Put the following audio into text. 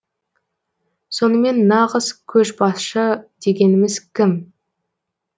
сонымен нағыз көшбасы дегеніміз кім